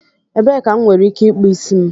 Ebee ka m nwere ike ịkpụ isi m?